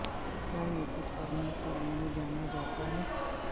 کیا یہ کچھ کرنے کے لئے جانا جاتا ہے